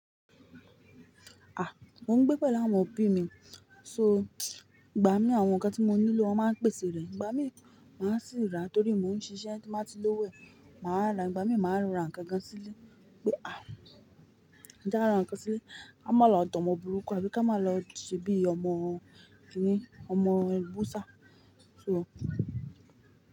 Ah! Mo ń gbé pẹ̀lú àwọn òbí mi, so ìgbà mí àwọn nǹkan tí mo nílò wọn máa ń pèsè rẹ̀. Ìgbà mí máa sì ń rà torí mo ń ṣiṣẹ́ tí máa ti lówó ẹ̀ máa rà, ìgbà mí máa rà nǹkan gan sí ilé pé ah! Kíå máa lọ rà ǹkan sílé, ká má lọ dán ọmọ burúkú, ẹbí ká má lọ ṣe bíi ọmọ kíni, ọmọ ẹ̀ bú ṣá, so.